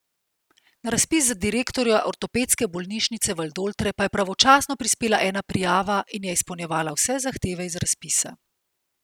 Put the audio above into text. Na razpis za direktorja Ortopedske bolnišnice Valdoltre pa je pravočasno prispela ena prijava in je izpolnjevala vse zahteve iz razpisa.